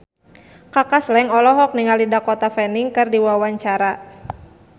Kaka Slank olohok ningali Dakota Fanning keur diwawancara